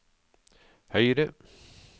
høyre